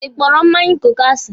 Ị kpọrọ mmanya kooku asi?